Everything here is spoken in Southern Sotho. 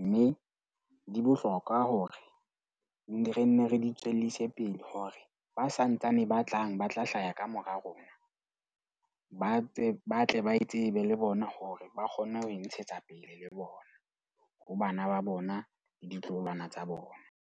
Mme di bohlokwa hore ne re nne re di tswellise pele hore ba santsane ba tlang ba tla hlaha kamora rona ba tse ba tle ba tsebe le bona, hore ba kgonne ho ntshetsa pele le bona. Ho bana ba bona le ditloholwana tsa bona.